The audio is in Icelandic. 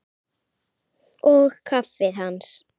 Og kaffið hans?